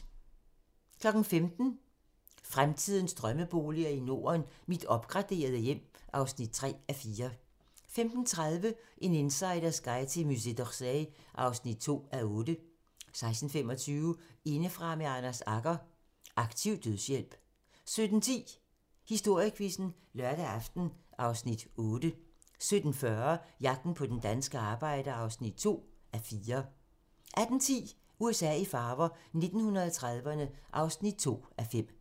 15:00: Fremtidens drømmeboliger i Norden: Mit opgraderede hjem (3:4) 15:30: En insiders guide til Musée d'Orsay (2:8) 16:25: Indefra med Anders Agger - Aktiv dødshjælp 17:10: Historiequizzen: Lørdag aften (Afs. 8) 17:40: Jagten på den danske arbejder (2:4) 18:10: USA i farver - 1930'erne (2:5)